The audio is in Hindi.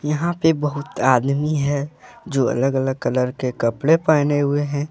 यहां पे बहुत आदमी है जो अलग अलग कलर के कपड़े पहने हुए हैं।